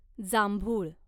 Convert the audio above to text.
जांभुळ